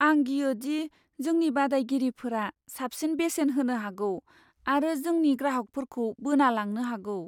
आं गियोदि जोंनि बादायगिरिफोरा साबसिन बेसेन होनो हागौ आरो जोंनि ग्राहकफोरखौ बोना लांनो हागौ।